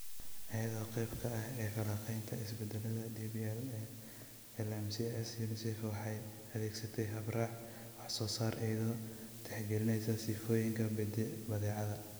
Iyada oo qayb ka ah falanqaynteeda isbeddellada DPL ee LMICs, UNICEF waxay adeegsatay hab-raac wax-soo-saar iyadoo tixgelinaysa sifooyinka badeecada.